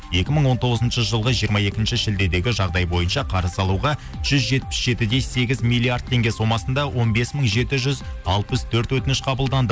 екі мың он тоғызыншы жылғы жиырма екінші шілдедегі жағдай бойынша қарыз алуға жүз жетпіс жеті де сегіз миллиард теңге сомасында он бес мың жеті жүз алпыс төрт өтініш қабылданды